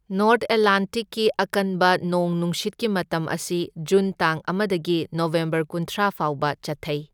North ꯑꯦꯠꯂꯥꯟꯇꯤꯛꯀꯤ ꯑꯀꯟꯕ ꯅꯣꯡ ꯅꯨꯡꯁꯤꯠꯀꯤ ꯃꯇꯝ ꯑꯁꯤ ꯖꯨꯟ ꯇꯥꯡ ꯑꯃꯗꯒꯤ ꯅꯕꯦꯝꯕꯔ ꯀꯨꯟꯊ꯭ꯔꯥ ꯐꯥꯎꯕ ꯆꯠꯊꯩ꯫